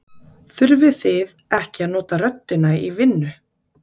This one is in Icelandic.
Þurfið þið ekki að nota röddina í vinnu?